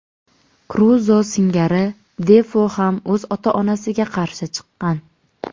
Kruzo singari Defo ham o‘z ota-onasiga qarshi chiqqan.